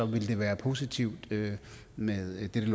ville det være positivt med dette